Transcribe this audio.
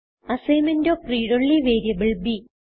assignment of read only variable b